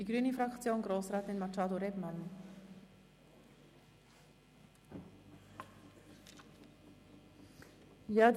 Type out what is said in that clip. Für die grüne Fraktion hat Grossrätin Machado Rebmann das Wort.